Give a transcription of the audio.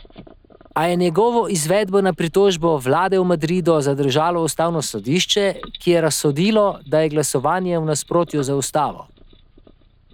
A je njegovo izvedbo na pritožbo vlade v Madridu zadržalo ustavno sodišče, ki je razsodilo, da je glasovanje v nasprotju z ustavo.